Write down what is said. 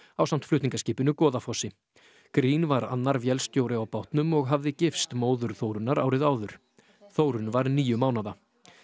ásamt flutningaskipinu Goðafossi green var annar vélstjóri á bátnum og hafði gifst móður Þórunnar árið áður Þórunn var níu mánaða